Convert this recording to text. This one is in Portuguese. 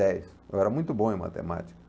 Dez. Eu era muito bom em matemática.